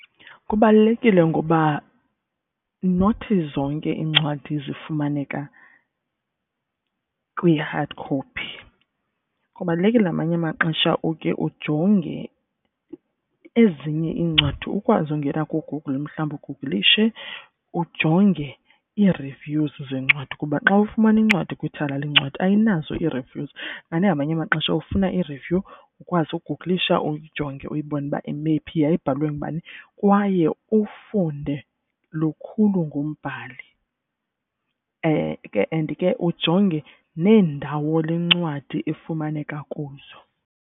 Kubalulekile ngoba nothi zonke iincwadi zifumaneka kwi-hard copy. Kubalulekile ngamanye amaxesha uke ujonge ezinye iincwadi ukwazi ungena kuGoogle mhlawumbi uguglishe ujonge i-reviews zencwadi. Kuba xa ufumana incwadi kwithala lencwadi ayinazo i-reviews. Kanti ngamanye amaxesha ufuna i-review ukwazi uguglisha uyijonge uyibone uba imephi, yayibhalwe ngubani. Kwaye ufunde lukhulu ngombhali and ke ujonge neendawo lencwadi ifumaneka kuzo.